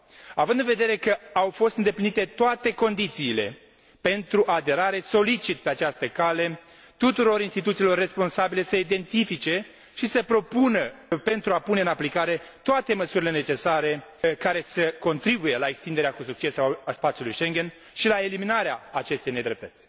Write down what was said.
Având în vedere că au fost îndeplinite toate condițiile pentru aderare, solicit pe această cale tuturor instituțiilor responsabile să identifice și să propună pentru a pune în aplicare toate măsurile necesare care să contribuie la extinderea cu succes a spațiului Schengen și la eliminarea acestei nedreptăți.